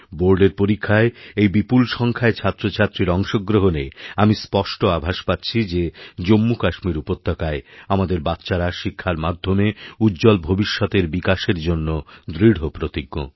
বোর্ডের পরীক্ষায় এই বিপুলসংখ্যায় ছাত্রছাত্রীর অংশগ্রহণে আমি স্পষ্ট আভাস পাচ্ছি যে জম্মুকাশ্মীরউপত্যকায় আমাদের বাচ্চারা শিক্ষার মাধ্যমে উজ্জ্বল ভবিষ্যতের বিকাশের জন্যদৃঢ়প্রতিজ্ঞ